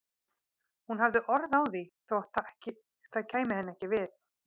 Hún hafði orð á því þótt ekki kæmi það henni við.